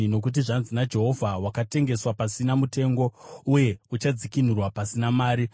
Nokuti zvanzi naJehovha, “Wakatengeswa pasina mutengo, uye uchadzikinurwa pasina mari.”